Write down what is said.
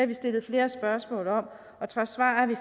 vi stillet flere spørgsmål om og trods svarene